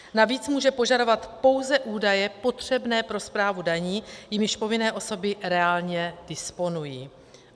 Navíc může požadovat pouze údaje potřebné pro správu daní, jimiž povinné osoby reálně disponují.